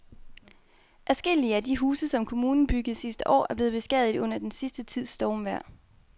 Adskillige af de huse, som kommunen byggede sidste år, er blevet beskadiget under den sidste tids stormvejr.